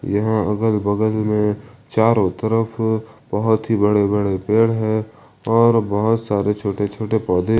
यहां अगल बगल में चारों तरफ बहुत ही बड़े बड़े पेड़ है और बहुत सारे छोटे छोटे पौधे--